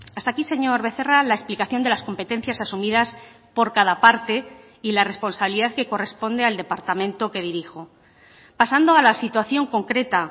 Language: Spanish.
hasta aquí señor becerra la explicación de las competencias asumidas por cada parte y la responsabilidad que corresponde al departamento que dirijo pasando a la situación concreta